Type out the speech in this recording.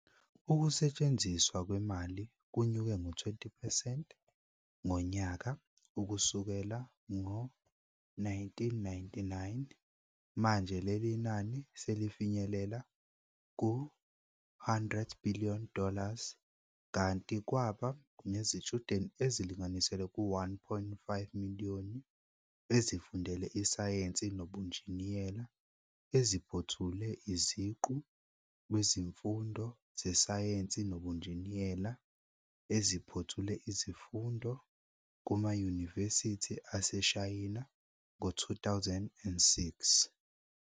Ukusetshenziswa kwemali kunyuke ngo 20 percent ngonyaka ukusukela ngo 1999, manje lelil nani selifinyelela ku-100bn dollars, kanti kwaba nezitshudeni ezilinganiselwa ku 1.5 miliyoni ezifundele isayense nobunjiniyela eziphothule iziqu kwizifundo zesayense nobunjiniyela, eziphothule izifundo kumayunivesithi aseShayina ngo 2006.